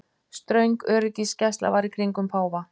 Ströng öryggisgæsla var í kringum páfa